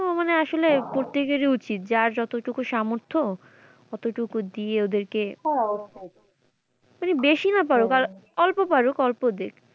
তো মানে আসলে প্রতেকের ই উচিত যার যতটুকু সামর্থ্য অত টুকু দিয়ে ওদেরকে মানে বেশি না পাড়ুক অল্প পারুক অল্প দিক।